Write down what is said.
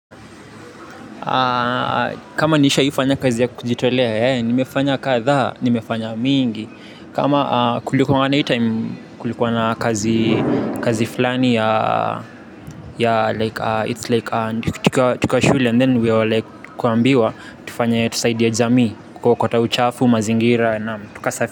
Kama nishawahi fanya kazi ya kujitolea eeh, nimefanya kadhaa, nimefanya mingi. Kama kulikuwa na hii time, kulikuwa na kazi fulani ya It's like, tukiwa shule and then we were like kuambiwa. Tufanye tusaidie jamii, kukota uchafu, mazingira naam tuka safi.